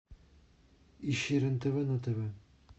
ищи рен тв на тв